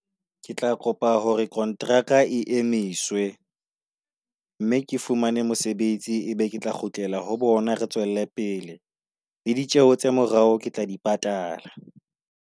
Ke tla kopa hore kontraka e emise, mme ke fumane mosebetsi e be ke tla kgutlela ho bona. Re tswele pele le ditjeho tsa morao, ke tla di patala.